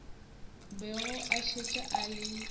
bego a šetše a le